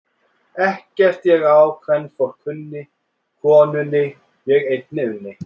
Ekkert ég á kvenfólk kunni, konunni ég einni unni.